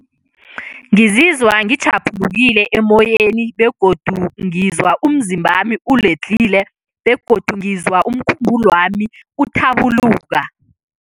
Ngizizwa ngitjhaphulukile emoyeni begodu ngizwa umzimbami uledlhile begodu ngizwa umkhumbulwami uthabuluka.